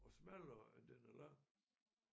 Og smallere end den er lang